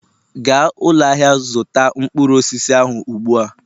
gaa ụlọ ahịa zụta mkpụrụ osisi ahụ ugbu a!